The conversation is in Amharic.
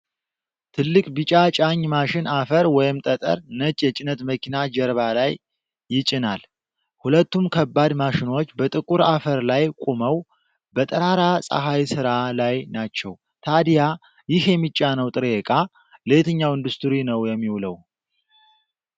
ትልቅ ቢጫ ጫኝ ማሽን አፈር ወይም ጠጠር ነጭ የጭነት መኪና ጀርባ ላይ ይጭናል። ሁለቱም ከባድ ማሽኖች በጥቁር አፈር ላይ ቆመው፣ በጠራራ ፀሐይ ሥራ ላይ ናቸው። ታዲያ ይህ የሚጫነው ጥሬ እቃ ለየትኛው ኢንዱስትሪ ነው የሚውለው?